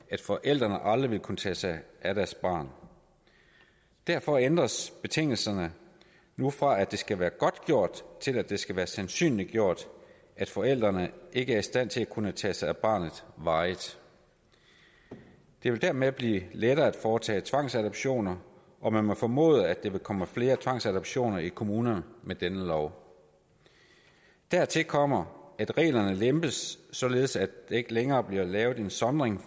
at forældrene aldrig ville kunne tage sig af deres barn derfor ændres betingelserne nu fra at det skal være godtgjort til at det skal være sandsynliggjort at forældrene ikke er i stand til at kunne tage sig af barnet varigt det vil dermed blive lettere at foretage tvangsadoptioner og man må formode at der vil komme flere tvangsadoptioner i kommunerne med denne lov dertil kommer at reglerne lempes således at der ikke længere bliver lavet en sondring